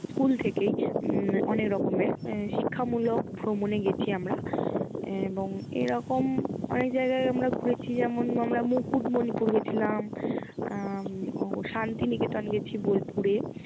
School থেকেই উম অনেক রকমের শিক্ষামূলক ভ্রমণে গেছি আমরা। এবং এরকম অনেক জায়গায় আমরা ঘুরেছি যেমন আমরা মুকুটমণিপুর গেছিলাম, আহ শান্তিনিকেতন গেছি বোলপুরে